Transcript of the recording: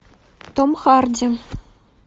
том харди